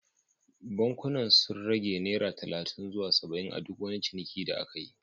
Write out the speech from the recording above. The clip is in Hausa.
Bankunan sun rage naira talatin zuwa saba’in a duk wani ciniki da aka yi